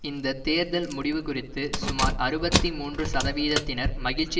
இந்த தேர்தல் முடிவு குறித்து சுமார் அறுபத்தி மூன்று சதவீதத்தினர் மகிழ்ச்சி